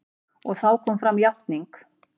Og þá kom fram játning.